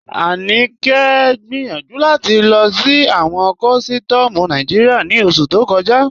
Aníkẹ gbẹ́yànju láti lọ sí awọn kọ̀sítọ̀mù Nàìjíríà ní oṣù tó kọ̀jà.